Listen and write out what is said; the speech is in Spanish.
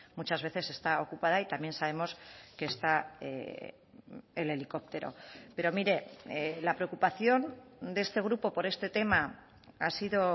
muchas veces está ocupada y también sabemos que está el helicóptero pero mire la preocupación de este grupo por este tema ha sido